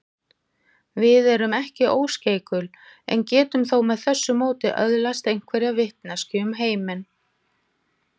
Við erum ekki óskeikul en getum þó með þessu móti öðlast einhverja vitneskju um heiminn.